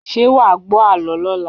Ṣé wà wá gbọ àlọ́ lọla?